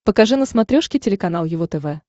покажи на смотрешке телеканал его тв